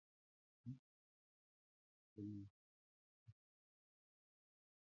Àwọn èèyàn tó wà ní ìlú ọ̀tọ̀ọ̀tọ̀ lè bára wọn dọ́rẹ̀ẹ́ tàbí rán àtẹ̀jíṣẹ́ síra wọn nípasẹ̀ ìkànnì ìbánidọ́rẹ̀ẹ́.